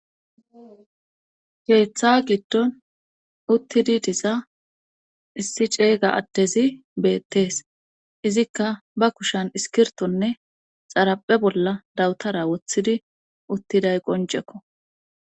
geeththa giddon uttidi diza issi ceeyga adtezi beettees izikka ba kushan iskirtonne xaraphe bolla dawutara wothidi uttiday qoncekko